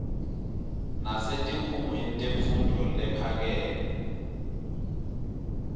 nasetikhungweni temfundvo lephakeme